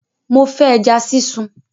Mo fẹ́ ẹja sísun!